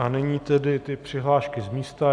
A nyní tedy ty přihlášky z místa.